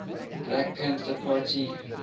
black panther party